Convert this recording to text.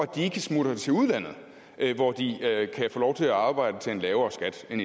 de ikke smutter til udlandet hvor de kan få lov til at arbejde til en lavere skat end